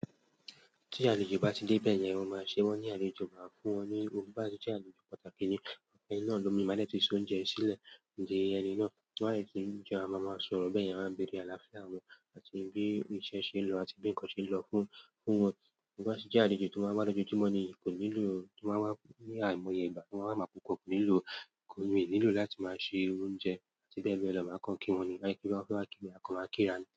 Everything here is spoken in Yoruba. Tí àlejò bá ti dé bẹ́ẹ̀ yẹn, wọn máa ṣe wọ́n ní àlejò, máa fún wọn ní ogún. Bí àti tí àlejò pàtàkì ni, ẹni náà lómi, máa dẹ́ẹ̀ tí sún jẹ sílẹ̀. Ǹdí ẹni náà, wọn á sì tún jẹ, a máa sọ̀rọ̀ bẹ́ẹ̀, a máa béèrè àlàáfíà wọn àti bí iṣẹ́ ṣe lọ àti bí ǹkan ṣe lọ fún, fún wọn. Bí àti tí àlejò tó máa ń rán ojú jímọ̀ ni kò nílò, tó máa ń wá ní àìmọye Ìgbà tó máa ń wá púpọ̀ kò nílò, kò ní nílò láti máa ṣe oúnjẹ. Bẹ́ẹ̀ bẹ́ẹ̀ lọ, máa kan kí wọn ni, máa kí wọn fẹ́ wá kí mi, a kọ máa kíra ni.